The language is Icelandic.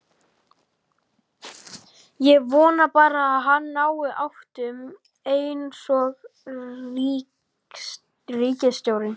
Ég vona bara að hann nái áttum einsog ríkisstjórnin.